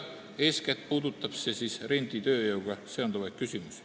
Eeskätt puudutab see renditööjõuga seonduvaid küsimusi.